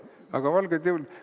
Aga valgeid jõule …